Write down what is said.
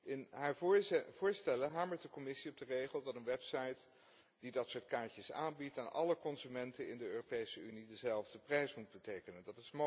In haar voorstellen hamert de Commissie op de regel dat een website die dat soort kaartjes aanbiedt voor alle consumenten in de Europese Unie dezelfde prijs moet rekenen.